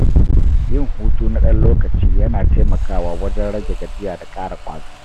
Yin hutu na ɗan lokaci yana taimakawa wajen rage gajiya da ƙara ƙwazo.